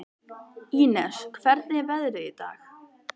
Ínes, hvernig er veðrið í dag?